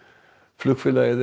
flugfélagið